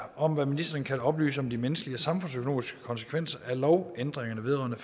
om hvad ministeren kan oplyse om de menneskelige og samfundsøkonomiske konsekvenser af lovændringerne vedrørende